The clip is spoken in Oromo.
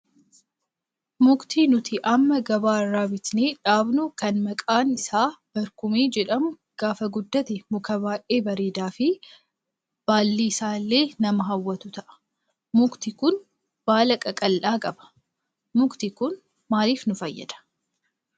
Mukti nuti amma gabaa irraa bitnee dhaabnu kan maqaan isaa barkumee jedhamu gaafa guddate muka baay'ee bareedaa fi baalli isaa illee nama hawwatu ta'a. Mukti kun baala qaqal'aa qaba. Mukti kun maaliif nu fayyadaa?